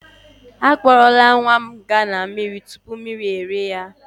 Akpọrọla nwa m gaa na slide mmiri tupu mmiri rie ya.